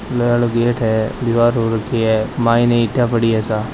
लोहा आलो गेट है दिवार हो रखी है मायने ईंटा पड़ी है सा।